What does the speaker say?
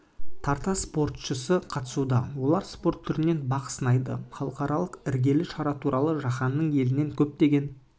тарта спортшысы қатысуда олар спорт түрінен бақ сынайды халықаралық іргелі шара туралы жаһанның елінен көптеген